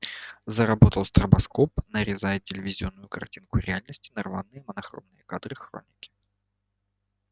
заработал стробоскоп нарезая телевизионную картинку реальности на рваные монохромные кадры хроники